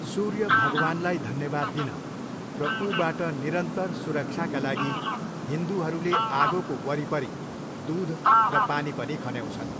सूर्य भगवानलाई धन्यवाद दिन र ऊबाट निरन्तर सुरक्षाका लागि हिन्दूहरूले आगोको वरिपरि दुध र पानी पनि खन्याउँछन्।